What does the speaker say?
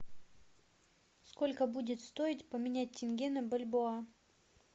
сколько будет стоить поменять тенге на бальбоа